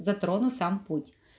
затрону сам путь